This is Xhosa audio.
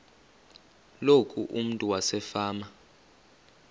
loku umntu wasefama